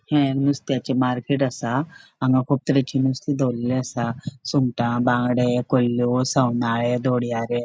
ये नुसतेचे मार्केट असा हांगा कुब तरेचे नुसते दोवोरले असा सुंगटा बंगड़े कुल्ल्यो सावनले दोडियरे --